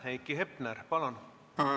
Heiki Hepner, palun!